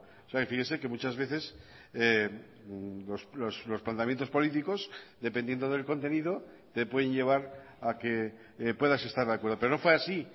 o sea fíjese que muchas veces los planteamientos políticos dependiendo del contenido te pueden llevar a que puedas estar de acuerdo pero no fue así